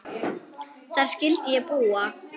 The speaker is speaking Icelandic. Þar skyldi ég búa.